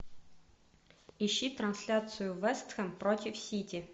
ищи трансляцию вест хэм против сити